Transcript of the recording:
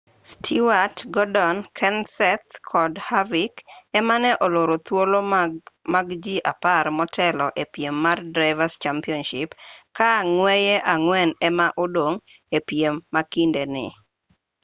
stewart gordon kenseth kod harvick ema ne oloro thuolo mag ji apar motelo e piem mar drivers' championship ka ng'weye ang'wen ema odong' e piem ma kinde ni